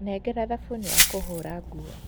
Nengera thabunĩ wa kũhũũra nguo.